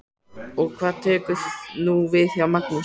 Og hvað tekur nú við hjá Magnúsi?